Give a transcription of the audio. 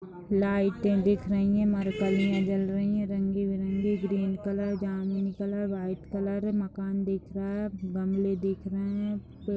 लाइटें दिख रही हैं मरकारियां जल रही है रंगी-बिरंगी ग्रीन कलर जामिनी कलर व्हाइट कलर मकान दिख रहा हैं गमले दिख रहे है पेड़--